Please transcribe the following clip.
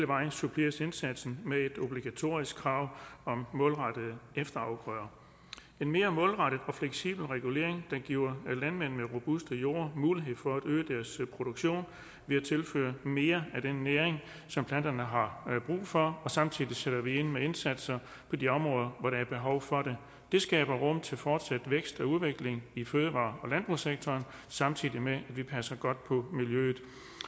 vej suppleres indsatsen med et obligatorisk krav om målrettede efterafgrøder en mere målrettet og fleksibel regulering der giver landmændene robuste jorde og mulighed for at øge deres produktion ved at tilføre mere af den næring som planterne har brug for og samtidig sætte ind med indsatser på de områder hvor der er behov for det skaber rum til fortsat vækst og udvikling i fødevare og landbrugssektoren samtidig med at vi passer godt på miljøet